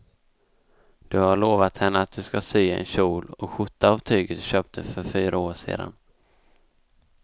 Du har lovat henne att du ska sy en kjol och skjorta av tyget du köpte för fyra år sedan.